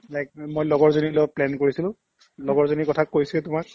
like মই লগৰজনীৰ লগত plan কৰিছিলো লগৰজনীৰ কথা কৈছোয়ে তোমাক